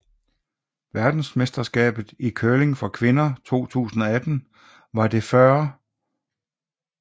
Verdensmesterskabet i curling for kvinder 2018 var det 40